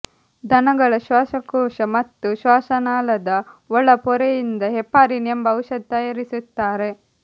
ದನಗಳ ಶ್ವಾಸಕೋಶ ಮತ್ತು ಶ್ವಾಸನಾಳದ ಒಳ ಪೊರೆಯಿಂದ ಹೆಪಾರಿನ್ ಎಂಬ ಔಷಧ ತಯಾರಿಸುತ್ತಾರೆ